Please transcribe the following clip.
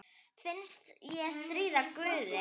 Finnst ég stríða guði.